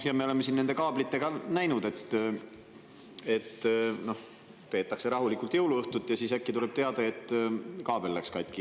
Ja me oleme nende kaablite puhul näinud, et peetakse rahulikult jõuluõhtut ja siis äkki tuleb teade, et kaabel läks katki.